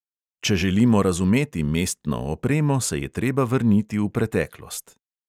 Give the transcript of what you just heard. Če želimo razumeti mestno opremo, se je treba vrniti v preteklost.